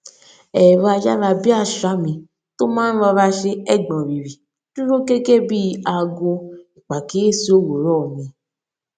ẹrọ ayára bíi àṣá mi tó máa ń rọra ṣe ẹgbọnrìrì dúró gẹgẹ bí i aago ìpàkíyèsí òwúrọ mi